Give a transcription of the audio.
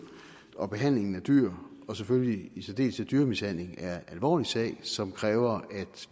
og behandlingen af dyr og selvfølgelig i særdeleshed dyremishandling er en alvorlig sag som kræver